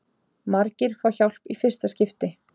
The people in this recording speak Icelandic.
Margir fá hjálp í fyrsta skipti